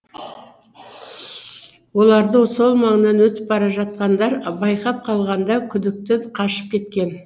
оларды сол маңнан өтіп бара жатқандар байқап қалғанда күдікті қашып кеткен